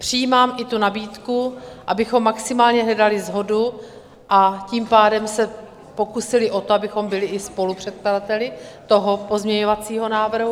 Přijímám i tu nabídku, abychom maximálně hledali shodu, a tím pádem se pokusili o to, abychom byli i spolupředkladateli toho pozměňovacího návrhu.